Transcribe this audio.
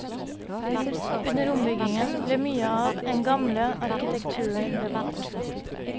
Under ombyggingen ble mye av en gamle arkitekturen bevart.